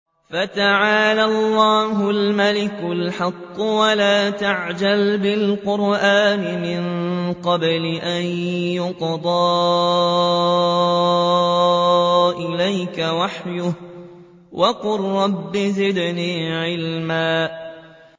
فَتَعَالَى اللَّهُ الْمَلِكُ الْحَقُّ ۗ وَلَا تَعْجَلْ بِالْقُرْآنِ مِن قَبْلِ أَن يُقْضَىٰ إِلَيْكَ وَحْيُهُ ۖ وَقُل رَّبِّ زِدْنِي عِلْمًا